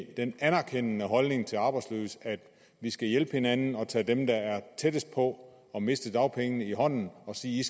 den anerkendende holdning til de arbejdsløse at vi skal hjælpe hinanden og tage dem der er tættest på at miste dagpengene i hånden og sige